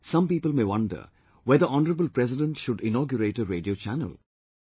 Now, some people may wonder whether Honourable President should inaugurate a Radio Channel